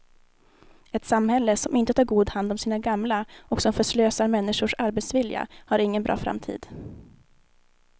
Ett samhälle som inte tar god hand om sina gamla och som förslösar människors arbetsvilja har ingen bra framtid.